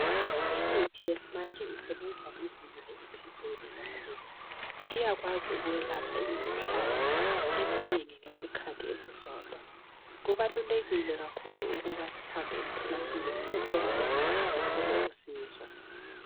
Imithi yesimanje isebenza ngezinga eliphezulu kakhulu iyakwazi ukwelapha imikhuhlane eminengi ngesikhathi esisodwa kubalulekile lakhulu ukuba sihambe emtholampilo siyethola lemithi sithole usizo.